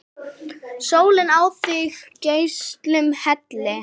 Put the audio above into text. Sólin á þig geislum helli!